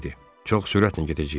Çox sürətlə gedəcəyik.